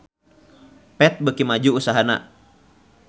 Path beuki maju usahana